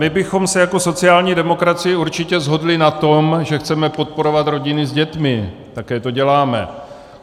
My bychom se jako sociální demokracie určitě shodli na tom, že chceme podporovat rodiny s dětmi, také to děláme.